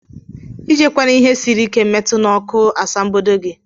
ijkwana ihe siri ike metụ na ọkụ asambodo gi.